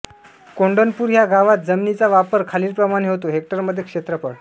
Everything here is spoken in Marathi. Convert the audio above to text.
कोंढणपूर ह्या गावात जमिनीचा वापर खालीलप्रमाणे होतो हेक्टरमध्ये क्षेत्रफळ